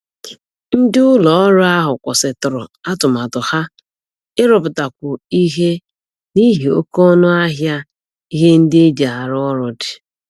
Ndị ụlọ ọrụ ahụ kwụsịtụrụ atụmatụ ha ịrụpụtakwu ihe n'ihi oke ọnụ ahịa ihe ndị e ji arụ ọrụ dị